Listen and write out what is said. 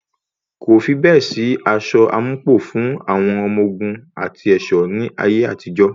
Kò fi bẹ́ẹ̀ sí aṣọ àmúpọ̀ fún àwọn ọmọ ogun àti ẹ̀ṣọ́ ní ayé àtijó.